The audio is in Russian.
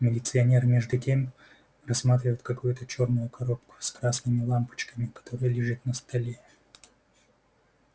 милиционер между тем рассматривает какую-то чёрную коробку с красными лампочками которая лежит на столе